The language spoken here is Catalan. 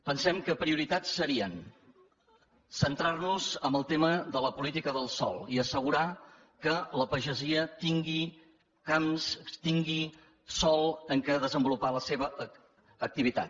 pensem que prioritats serien centrar nos en el tema de la política del sòl i assegurar que la pagesia tingui camps tingui sòl en què desenvolupar la seva activitat